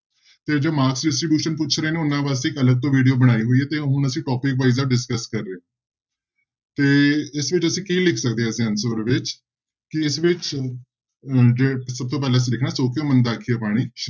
ਤੇ ਜੋ mark distribution ਪੁੱਛ ਰਹੇ ਨੇ ਉਹਨਾਂ ਵਾਸਤੇ ਇੱਕ ਅਲੱਗ ਤੋਂ video ਬਣਾਈ ਹੋਈ ਹੈ ਤੇ ਹੁਣ ਅਸੀਂ topic discuss ਕਰ ਰਹੇ ਹਾਂ ਤੇ ਇਸ ਵਿੱਚ ਅਸੀਂ ਕੀ ਲਿਖ ਸਕਦੇ ਹਾਂ ਅਸੀਂ answer ਵਿੱਚ ਕਿ ਇਸ ਵਿੱਚ ਅਹ ਤੇ ਸਭ ਤੋਂ ਪਹਿਲਾਂਂ ਅਸੀਂ ਲਿਖਣਾ ਸੌ ਕਿਉਂ ਮੰਦਾ ਆਖੀਐ ਬਾਣੀ